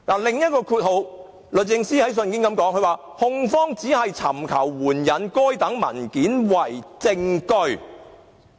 第二，律政司在信件中說"控方只是尋求援引該等文件為證據"。